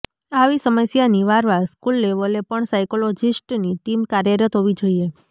આવી સમસ્યા નિવારવા સ્કૂલ લેવલે પણ સાયકોલોજિસ્ટની ટીમ કાર્યરત હોવી જોઇએ